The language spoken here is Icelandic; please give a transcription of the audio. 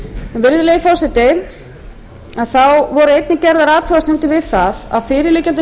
skattstofn virðulegi forseti þá voru einnig gerðar athugasemdir við það að fyrirliggjandi